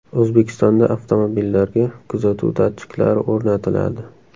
O‘zbekistonda avtomobillarga kuzatuv datchiklari o‘rnatiladi.